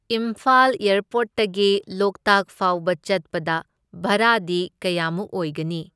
ꯏꯝꯐꯥꯜ ꯑꯦꯔꯄꯣꯔꯠꯇꯒꯤ ꯂꯣꯛꯇꯥꯛ ꯐꯥꯎꯕ ꯆꯠꯄꯗ ꯚꯔꯥꯗꯤ ꯀꯌꯥꯃꯨꯛ ꯑꯣꯢꯒꯅꯤ꯫